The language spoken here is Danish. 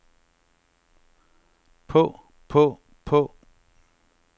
på på på